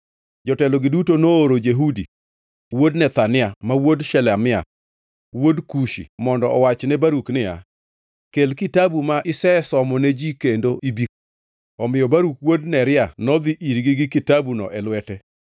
jotelogi duto nooro Jehudi wuod Nethania, ma wuod Shelemia, wuod Kushi, mondo owach ne Baruk niya, “Kel kitabu ma isesomone ji kendo ibi.” Omiyo Baruk wuod Neria nodhi irgi gi kitabuno e lwete.